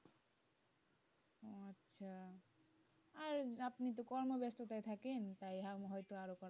আচ্ছা আর আপনি তো কর্ম ব্যস্ততায় থাকেন তাই আরো হয়তো,